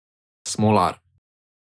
Smolar.